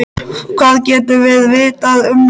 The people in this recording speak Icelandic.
Hvað getum við vitað um hann?